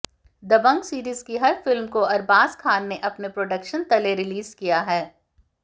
दबंग series की हर film को अरबाज खान ने अपने प्रोडक्शन तले रिलीज किया है